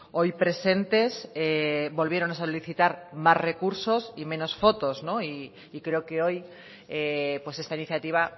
hoy presentes volvieron a solicitar más recursos y menos fotos y creo que hoy esta iniciativa